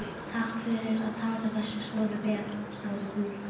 Takk fyrir að taka þessu svona vel, sagði hún.